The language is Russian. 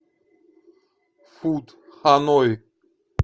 фуд ханой